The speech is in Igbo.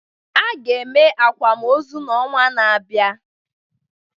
A ga-eme akwamozu n'ọnwa na-abịa